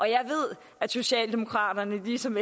jeg ved at socialdemokraterne ligesom